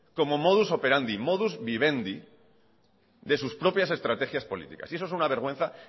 como modus superandi modus vivendi de sus propias estrategias políticas y eso es una vergüenza